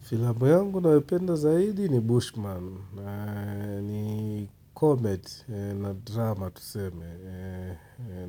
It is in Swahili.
Filamu yangu nayopenda zaidi ni Bushman. Ni comedy na drama tuseme.